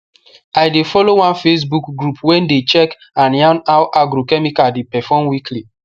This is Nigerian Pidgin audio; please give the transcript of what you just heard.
i dey follow one facebook group wey dey check and yarn how agrochemical dey perform weekly